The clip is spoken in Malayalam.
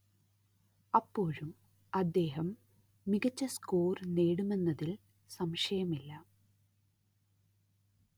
അപ്പോഴും അദ്ദേഹം മികച്ച സ്കോർ നേടുമെന്നതിൽ സംശയമില്ല